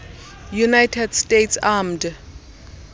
united states armed